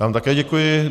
Já vám také děkuji.